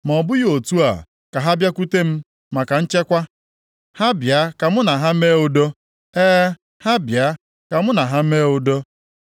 Ma ọ bụghị otu a, ka ha bịakwute m maka nchekwa, ha bịa ka mụ na ha mee udo. E, ha bịa ka mụ na ha mee udo.”